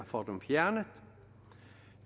få dem fjernet